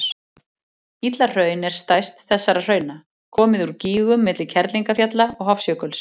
Illahraun er stærst þessara hrauna, komið úr gígum milli Kerlingarfjalla og Hofsjökuls.